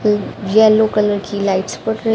yellow colour की lights बर--